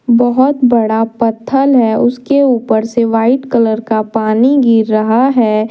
बहौत बड़ा पत्थल है उसके ऊपर से वाइट कलर का पानी गिर रहा है।